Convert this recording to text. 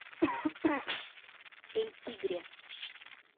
эль тигре